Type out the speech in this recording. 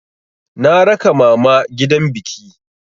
Na raka mama gidan biki.